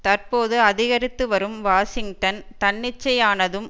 தற்போது அதிகரித்துவரும் வாஷிங்டன் தன்னிச்சையானதும்